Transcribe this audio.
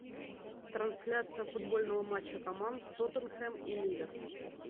трансляция футбольного матча команд тоттенхэм и ливер